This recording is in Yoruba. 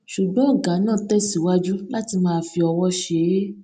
ṣùgbọn ògá náà tẹsíwájú láti máa fi ọwó ṣe é